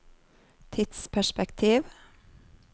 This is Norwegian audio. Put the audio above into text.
tidsperspektiv